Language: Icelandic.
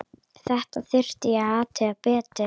Þetta þurfti að athuga betur.